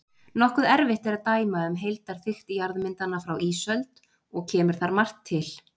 Nokkuð erfitt er að dæma um heildarþykkt jarðmyndana frá ísöld og kemur þar margt til.